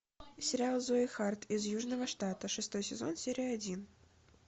сериал зои харт из южного штата шестой сезон серия один